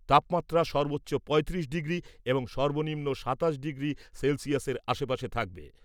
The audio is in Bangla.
তাপমাত্রা সর্বোচ্চ পঁয়ত্রিশ ডিগ্রি এবং সর্বনিম্ন সাতাশ ডিগ্রি সেলসিয়াসের আশপাশে থাকবে।